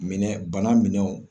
Minɛ bana minɛn